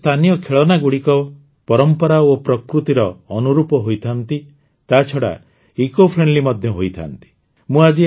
ଭାରତର ସ୍ଥାନୀୟ ଖେଳନାଗୁଡ଼ିକ ପରମ୍ପରା ଓ ପ୍ରକୃତିର ଅନୁରୂପ ହୋଇଥାନ୍ତି ତାଛଡ଼ା ଇକୋଫ୍ରେଣ୍ଡଲି ମଧ୍ୟ ହୋଇଥାନ୍ତି